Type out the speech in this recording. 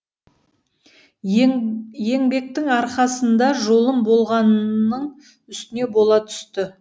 еңбектің арқасында жолым болғанның үстіне бола түсті